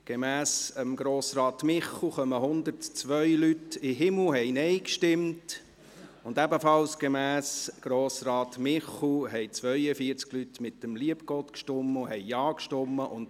Gemäss Grossrat Michel Seiler kommen 102 Leute in den Himmel und haben Nein gestimmt, und ebenfalls gemäss Grossrat Michel Seiler haben 42 Personen mit dem lieben Gott gestimmt und Ja gesagt.